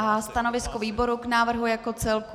A stanovisko výboru k návrhu jako celku?